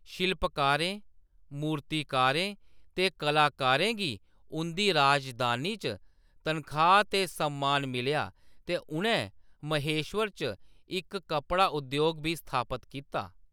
शिल्पकारें, मूर्तिकारें ते कलाकारें गी उंʼदी राजधानी च तनखाह्‌‌ ते सम्मान मिलेआ ते उʼनैं महेश्वर च इक कपड़ा उद्योग बी स्थापत कीता।